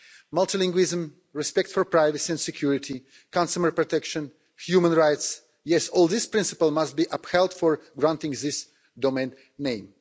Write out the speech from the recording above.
Multilingualism, respect for privacy and security, consumer protection, human rights yes, all these principles must be upheld for granting this domain name.